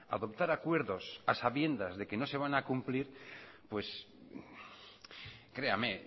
adoptar acuerdos a sabiendas de que no se van a cumplir pues créame